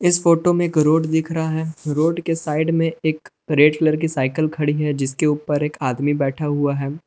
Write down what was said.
इस फोटो में एक रोड दिख रहा है रोड के साइड में एक रेड कलर की साइकिल खड़ी है जिसके ऊपर एक आदमी बैठा हुआ है।